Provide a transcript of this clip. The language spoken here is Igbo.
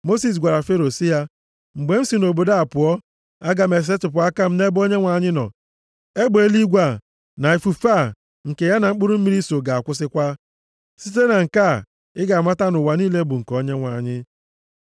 Mosis gwara Fero sị ya, “Mgbe m si nʼobodo a pụọ, aga m esetipụ aka m nʼebe Onyenwe anyị nọ, egbe eluigwe a, na ifufe a nke ya na mkpụrụ mmiri so ga-akwụsịkwa. Site na nke a, ị ga-amata na ụwa niile bụ nke Onyenwe anyị.